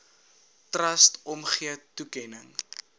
trust omgee toekenning